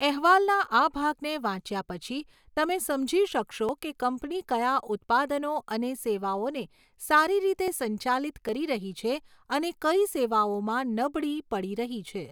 અહેવાલના આ ભાગને વાંચ્યા પછી, તમે સમજી શકશો કે કંપની કયા ઉત્પાદનો અને સેવાઓને સારી રીતે સંચાલિત કરી રહી છે અને કઈ સેવાઓમાં નબળી પડી રહી છે.